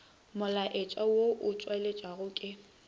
molaetša wo o tšweletšwago ke